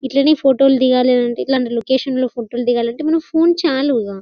ఇట్లేనే photo లు దిగాలి అంటే ఇలాంటి లొకేషన్ లో ఫోటో దిగాలి అంటే మన ఫోన్ చాలుగా.